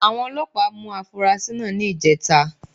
Àwọn Ọlọ́pàá mú afurasí náà ní ìjẹta